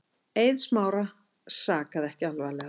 Eið Smára sakaði ekki alvarlega.